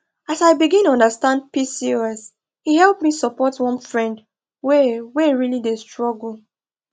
as i begin understand pcos e help me support one friend wey wey really dey struggle